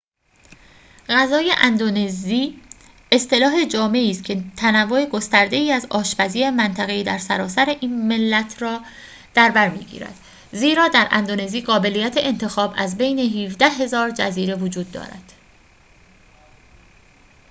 غذای اندونزی اصطلاح جامعی است که تنوع گسترده‌ای از آشپزی منطقه‌ای در سراسر این ملت را در برمی‌گیرد زیرا در اندونزی قابلیت انتخاب از بین ۱۷,۰۰۰ جزیره وجود دارد